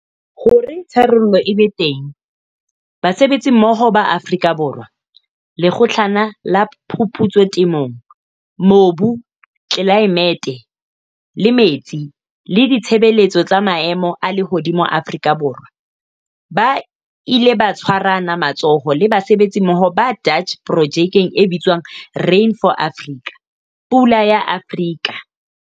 Hore tharollo e be teng, basebetsimmoho ba Afrika Borwa, Lekgotlana la Phuputso Temong- Mobu, Tlelaemete le Metsi le Ditshebeletso tsa Maemo a Lehodimo Afrika Borwa ba ile ba tshwarana matsoho le basebetsimmoho ba Dutch projekeng e bitswang "Rain for Africa" "Pula ya Afrika".